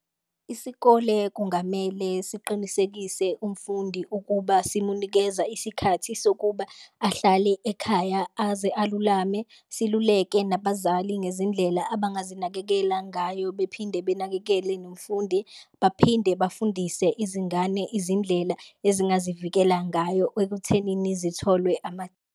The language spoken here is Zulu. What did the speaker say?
Isikole kungamele siqinisekise umfundi ukuba simunikeza isikhathi sokuba ahlale ekhaya aze alulame, siluleke nabazali ngezindlela abangazinakekela ngayo bephinde benakekele nomfundi. Baphinde bafundise izingane izindlela ezingazivikela ngayo ekuthenini zitholwe .